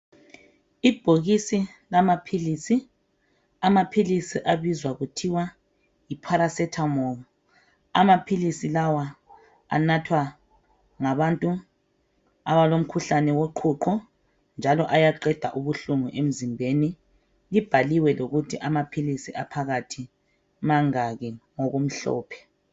Ibhokisi lamaphilisi. Amaphilisi abizwa kuthiwa yiparasethamoli. Amaphilisi lawa anathwa ngabantu abalomkhuhlane woqhuqho njalo ayaqeda ubuhlungu emzimbeni. Libhaliwe lokuthi amaphilisi aphakathi mangaki ngokumhlophe.